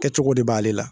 Kɛcogo de b'ale la